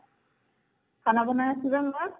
খানা বনাই আছো যে মই